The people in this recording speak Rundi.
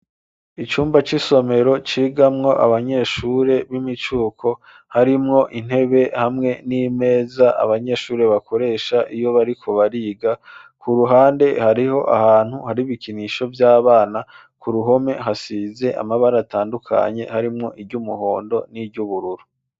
Icumba c'isomero ,cigamwo ,Abanyeshure b'imicuko harimwo intebe hamwe n'imeza, Abanyeshuri bakoresha iyo bariko bariga, ku ruhande hariho ahantu ,hari bikinisho vy'Abana, ku ruhome hasize amabara atandukanye ,harimwo iry'umuhondo ,n'iry'ubururu.